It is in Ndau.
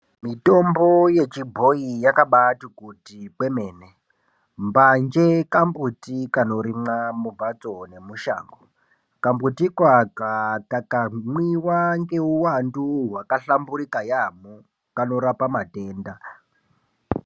Mutombo wechibhoyi wakabati kuti kwemene mbanje kambuti kanorimwa mumbatso nemushango kambutiko aka kakamwiwaa ngeuwandu wakahlamburika yambo kanorape matenda .